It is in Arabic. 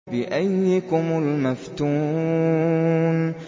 بِأَييِّكُمُ الْمَفْتُونُ